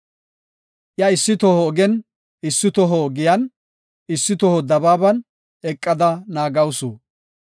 Iya issi toho ogen, issi toho giyan, issi toho dabaaban eqada naagawusu.